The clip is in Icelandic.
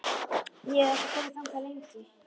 Ég hef ekki komið þangað lengi.